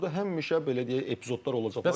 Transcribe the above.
Burda həmişə belə deyək, epizodlar olacaq.